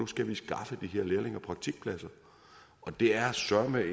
skal skaffe de her lærlinge og praktikpladser og det er søreme